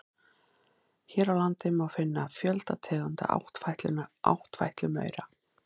Hér á landi má finna fjölda tegunda áttfætlumaura.